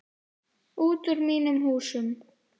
Út úr mínum húsum!